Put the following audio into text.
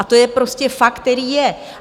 A to je prostě fakt, který je.